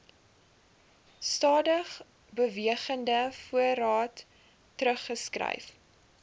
stadigbewegende voorraad teruggeskryf